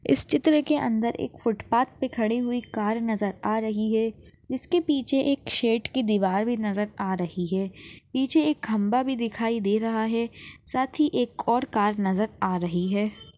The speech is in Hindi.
इस चित्र के अंदर एक फुटपाथ पे खड़ी हुई कार नज़र आ रही है इसके पिछे एक शेड की दीवार भी नज़र आ रही है पिछे एक खंबा भी दिखाई दे रहा है सात ही एक और कार नज़र आ रही है।